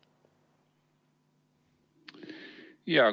Jaa!